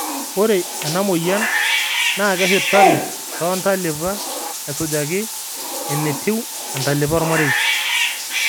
ore ena moyian naa keshurtari too ntalipa esujaki enetiu entalipa ormarei